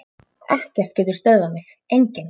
Ekkert getur stöðvað mig, enginn.